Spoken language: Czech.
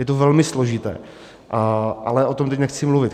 Je to velmi složité, ale o tom teď nechci mluvit.